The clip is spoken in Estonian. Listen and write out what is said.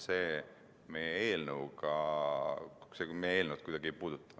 Seda meie eelnõu kuidagi ei puuduta.